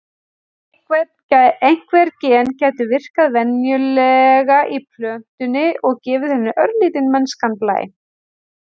Einhver gen gætu virkað venjulega í plöntunni og gefið henni örlítinn mennskan blæ.